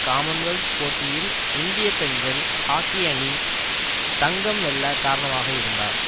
Commonwealth போட்டியில் இந்திய பெண்கள் ஹாக்கி அணி தங்கம் வெல்ல காரணமாக இருந்தார்